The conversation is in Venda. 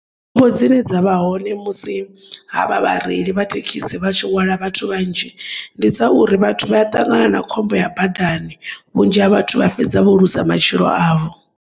Khombo dzine dza nahone musi ha vha vhareili vha thekisi vhatshi hwala vhathu vhanzhi, ndi dzauri vhathu vha ṱangana na khombo ya badani vhunzhi ha vhathu vhafhedza vho luza matshilo avho.